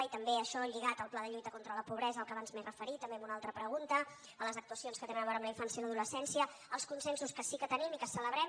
i també això lligat al pla de lluita contra la pobresa a què abans m’he referit també en una altra pregunta a les actuacions que tenen a veure amb la infància i l’adolescència als consensos que sí que tenim i que celebrem